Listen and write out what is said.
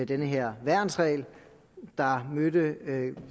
den her værnsregel der mødte